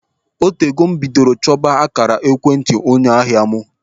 O tego m bidoro chọba akaara ekwentị onye ahịa m.